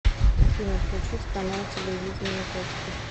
афина включить канал телевидения точка